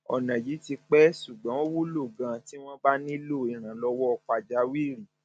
ọnà yìí ti pẹ ṣùgbọn ó wúlò ganan tí wọn bá nílò ìrànlọwọ pàjáwìrì